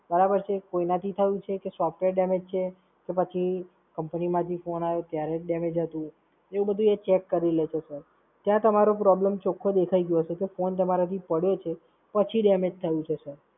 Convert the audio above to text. બરાબર છે? કોઈના થી થયું છે? કે Software damage છે? કે પછી Company માંથી Phone આયો ત્યારે damage હતું? એવું બધુ એ ચેક કરી લે છે sir. ત્યાં તમારો problem ચોખ્ખો દેખાઈ ગયો હશે. કે Phone તમારા થી પડ્યો છે, પછી damage થયું છે Sir